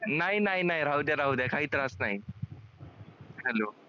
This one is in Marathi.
नाही नाही नाही राहूद्या राहूद्या काही त्रास नाही. hello